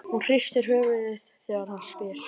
Hún hristir höfuðið þegar hann spyr.